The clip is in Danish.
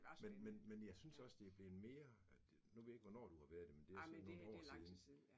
Men men men jeg synes også, det blevet mere at at, nu ved jeg ikke, hvornår du har været det, men det er så nogen år siden